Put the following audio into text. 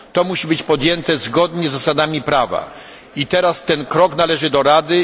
To musi być podjęte zgodnie z zasadami prawa i teraz ten krok należy do Rady.